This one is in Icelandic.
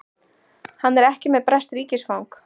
Hann er ekki með breskt ríkisfang